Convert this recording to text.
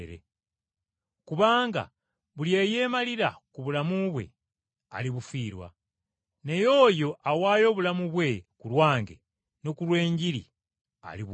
Kubanga buli eyeemalira ku bulamu bwe, alibufiirwa. Naye oyo awaayo obulamu bwe ku lwange ne ku lw’Enjiri alibuwonya.